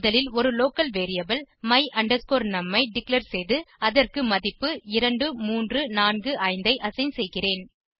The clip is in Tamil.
முதலில் ஒரு லோக்கல் வேரியபிள் my num ஐ டிக்ளேர் செய்து அதற்கு மதிப்பு 2345 ஐ அசைன் செய்கிறேன்